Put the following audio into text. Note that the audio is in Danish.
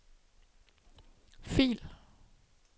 fil